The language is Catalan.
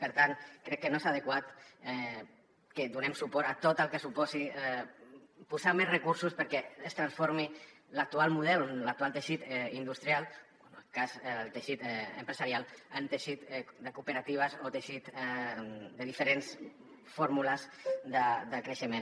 per tant crec que no és adequat que donem suport a tot el que suposi posar més recursos perquè es transformi l’actual model l’actual teixit industrial o en el cas del teixit empresarial en teixit de cooperatives o teixit de diferents fórmules de creixement